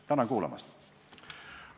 Tänan kuulamast!